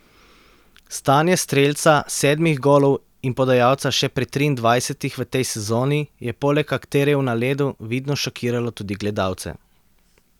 Stanje strelca sedmih golov in podajalca še pri triindvajsetih v tej sezoni je poleg akterjev na ledu vidno šokiralo tudi gledalce.